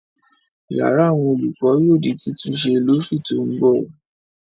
Ìyàrá àwọn olùkọ́ yóò di títúnṣe lóṣù tó ń bọ̀.